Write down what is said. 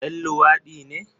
Ɗan luwadi ne?